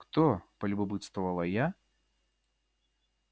кто полюбопытствовала я